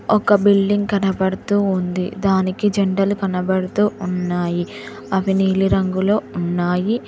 ఒక బిల్డింగ్ కనబడుతూ ఉంది దానికి జెండాలు కనబడుతూ ఉన్నాయి అవి నీలి రంగులో ఉన్నాయి.